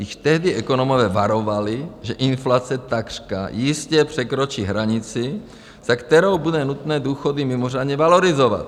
Již tehdy ekonomové varovali, že inflace takřka jistě překročí hranici, za kterou bude nutné důchody mimořádně valorizovat.